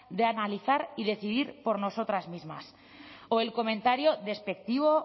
de analizar y decidir por nosotras mismas o el comentario despectivo